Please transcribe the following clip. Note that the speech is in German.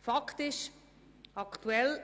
Fakt ist, dass wir aktuell